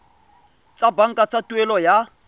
tsa banka tsa tuelo ya